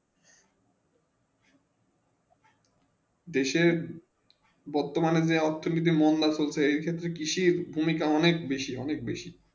দেশে বর্তমানে যে অথর্নীতি মোহনদাস করতে এই কৃষি ভূমিকা অনেক বেশি অনেক বেশি